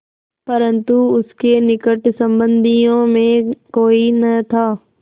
परन्तु उसके निकट संबंधियों में कोई न था